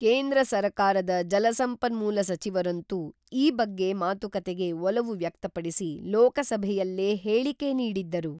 ಕೇಂದ್ರ ಸರಕಾರದ ಜಲಸಂಪನ್ಮೂಲ ಸಚಿವರಂತೂ ಈ ಬಗ್ಗೆ ಮಾತುಕತೆಗೆ ಒಲವು ವ್ಯಕ್ತಪಡಿಸಿ ಲೋಕಸಭೆಯಲ್ಲೇ ಹೇಳಿಕೆ ನೀಡಿದ್ದರು.